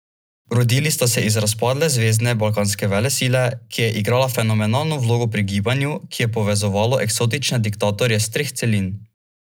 Rodili sta se iz razpadle zvezne balkanske velesile, ki je igrala fenomenalno vlogo pri gibanju, ki je povezovalo eksotične diktatorje s treh celin.